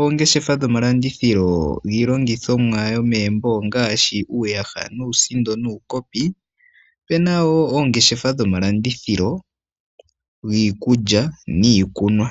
oongeshefa dhomalandithilo giinima yomegumbo ongaashi uuyaha, uusindo nuukopi. Opu na wo oongeshefa dhomalandithilo giikulya niikunwa.